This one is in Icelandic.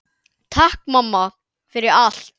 Takk mamma, fyrir allt.